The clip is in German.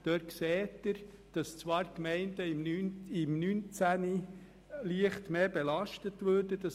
Dort sehen Sie, dass zwar die Gemeinden im Jahr 2019 leicht mehr belastet würden.